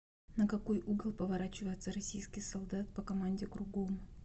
на какой угол поворачивается российский солдат по команде кругом